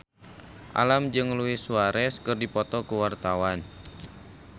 Alam jeung Luis Suarez keur dipoto ku wartawan